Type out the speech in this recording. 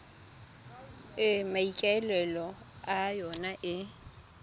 e maikaelelo a yona e